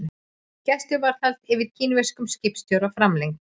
Gæsluvarðhald yfir kínverskum skipstjóra framlengt